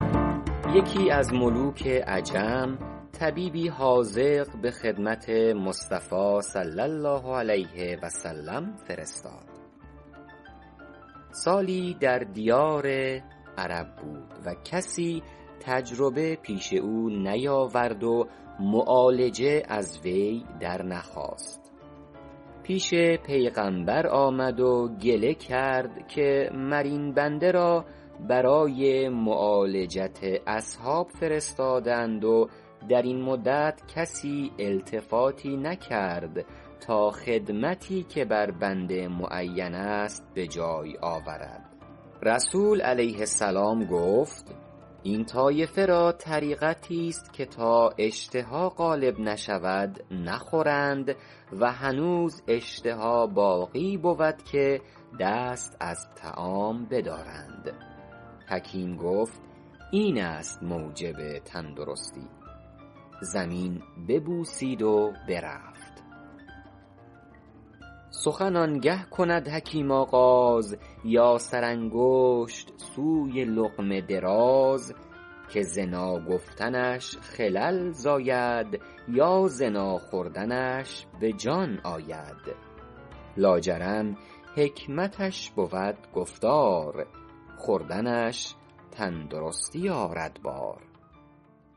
یکی از ملوک عجم طبیبی حاذق به خدمت مصطفی صلی الله علیه و سلم فرستاد سالی در دیار عرب بود و کسی تجربه پیش او نیاورد و معالجه از وی در نخواست پیش پیغمبر آمد و گله کرد که مر این بنده را برای معالجت اصحاب فرستاده اند و در این مدت کسی التفاتی نکرد تا خدمتی که بر بنده معین است به جای آورد رسول علیه السلام گفت این طایفه را طریقتی است که تا اشتها غالب نشود نخورند و هنوز اشتها باقی بود که دست از طعام بدارند حکیم گفت این است موجب تندرستی زمین ببوسید و برفت سخن آن گه کند حکیم آغاز یا سرانگشت سوی لقمه دراز که ز ناگفتنش خلل زاید یا ز ناخوردنش به جان آید لا جرم حکمتش بود گفتار خوردنش تندرستی آرد بار